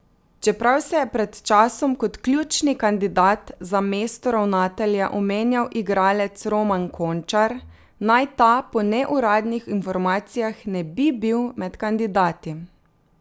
Čeprav se je pred časom kot ključni kandidat za mesto ravnatelja omenjal igralec Roman Končar, naj ta po neuradnih informacijah ne bi bil med kandidati.